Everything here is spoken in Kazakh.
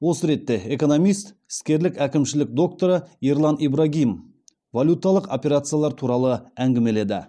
осы ретте экономист іскерлік әкімшілік докторы ерлан ибрагим валюталық операциялар туралы әңгімеледі